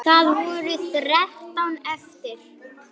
Bjargið okkur!